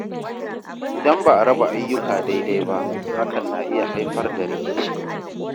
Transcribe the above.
Idan ba a raba ayyuka daidai ba, hakan na iya haifar da rikici.